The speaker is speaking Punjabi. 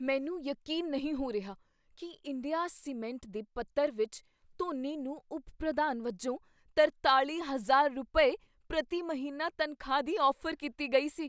ਮੈਨੂੰ ਯਕੀਨ ਨਹੀਂ ਹੋ ਰਿਹਾ ਕੀ ਇੰਡੀਆ ਸੀਮੈਂਟ ਦੇ ਪੱਤਰ ਵਿੱਚ ਧੋਨੀ ਨੂੰ ਉਪ ਪ੍ਰਧਾਨ ਵਜੋਂ ਤਰਤਾਲ਼ੀ ਹਜ਼ਾਰ ਰੁਪਏ, ਪ੍ਰਤੀ ਮਹੀਨਾ ਤਨਖਾਹ ਦੀ ਔਫ਼ਰ ਕੀਤੀ ਗਈ ਸੀ